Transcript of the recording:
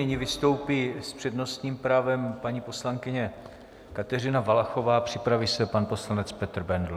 Nyní vystoupí s přednostním právem paní poslankyně Kateřina Valachová, připraví se pan poslanec Petr Bendl.